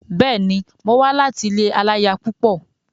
Bẹ́ẹ̀ni, mo wá láti ilé aláya púpọ̀.